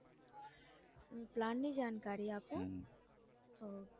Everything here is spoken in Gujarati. પ્લાન ની જાણકારી આપું ok